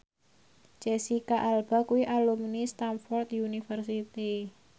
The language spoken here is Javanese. Jesicca Alba kuwi alumni Stamford University